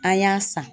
An y'a san